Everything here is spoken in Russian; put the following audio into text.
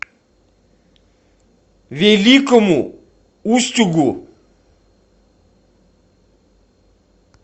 великому устюгу